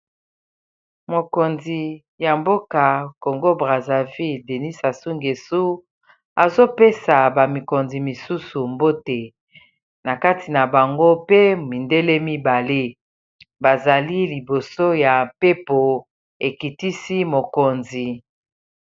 mokonzi ya mboka congo brasavile denis asungesu azopesa bamikonzi misusu mbote na kati na bango pe mindele mibale bazali liboso ya mpepo ekitisi mokonzi